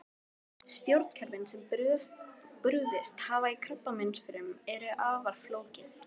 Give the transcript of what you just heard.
Stjórnkerfin sem brugðist hafa í krabbameinsfrumum eru afar flókin.